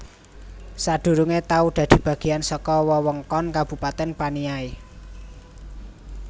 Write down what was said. Sadurungé tau dadi bagéyan saka wewengkon Kabupatèn Paniai